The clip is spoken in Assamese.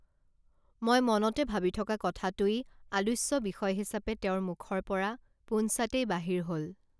মই মনতে ভাবি থকা কথাটোই আলোচ্য বিষয় হিচাপে তেওঁৰ মুখৰ পৰা পোনছাটেই বাহিৰ হল